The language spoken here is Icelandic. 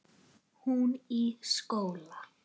Hún í skóla.